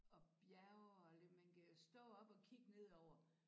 Og bjerge og lidt man kan stå op og kigge nedover